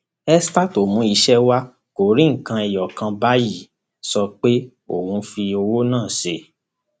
esther tó mú iṣẹ wa kò rí nǹkan ẹyọ kan báyìí sọ pé òun fi owó náà ṣe